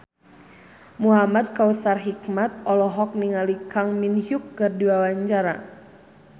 Muhamad Kautsar Hikmat olohok ningali Kang Min Hyuk keur diwawancara